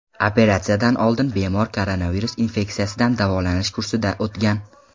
Operatsiyadan oldin bemor koronavirus infeksiyasidan davolanish kursidan o‘tgan.